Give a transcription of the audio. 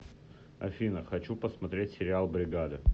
афина хочу посмотреть сериал бригада